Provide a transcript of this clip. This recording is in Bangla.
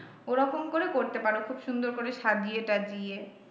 ওরকম করে করতে পারো খুব সুন্দর করে সাজিয়ে টাজিয়ে।